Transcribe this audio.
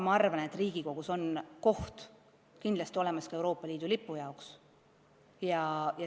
Ka arvan ma, et Riigikogus on kindlasti olemas koht ka Euroopa Liidu lipu jaoks.